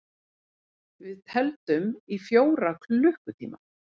Við tefldum í fjóra klukkutíma!